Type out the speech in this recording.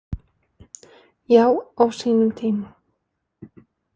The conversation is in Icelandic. Já, á sínum tíma.